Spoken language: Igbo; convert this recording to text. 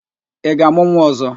Ị ga-amụ nwa ọzọ?